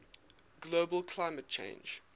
global climate change